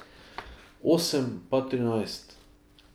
Osem pa trinajst.